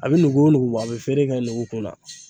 A bɛ nugu o nugu bɔ a bɛ feere kɛ nugu kun na.